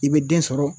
I bɛ den sɔrɔ